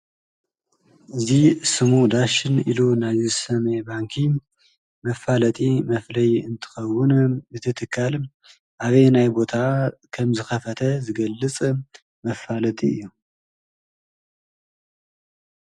እዚ ስሙ ዳሸን ኢሉ ናይ ዝሰመየ ባንኪ መፋለጢ መፍለዬ እንትኸዉን እቲ ተካል ኣበየናይ ቦታ ከምዝከፈተ ዝገልፅ መፋለጢ እዩ።